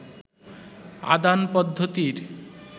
আদান পদ্ধতির